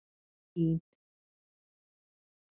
Vín